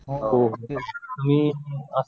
हो आणि